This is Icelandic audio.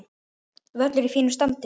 Völlur í fínu standi.